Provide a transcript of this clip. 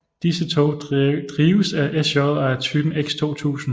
Disse tog drives af SJ og er af typen X 2000